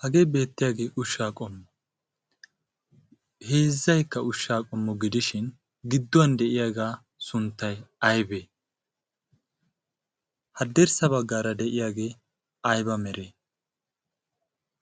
hagee beettiyaagee ushshaa qommu heezzaykka ushshaa qommo gidishin gidduwan de'iyaagaa sunttay aybee haddirssa baggaara de'iyaagee ayba mere